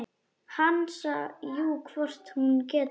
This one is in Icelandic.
Hansa: Jú, hvort hún getur.